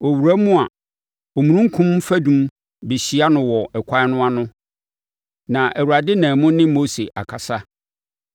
Ɔrewura mu a, omununkum fadum bɛhyia no wɔ ɛkwan no ano na Awurade nam mu ne Mose akasa.